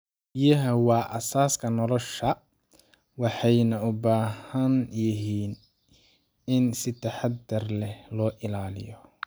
Biyaha waa aasaaska nolosha, waxayna u baahan yihiin in si taxadar leh loo ilaaliyo.